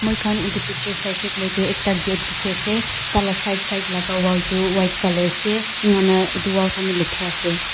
moi khan edu picture saishey koilae edu ekta gate dikhiase tala side laka wall tu white colour ase enaka kurna edu wall khan tu lathira ase.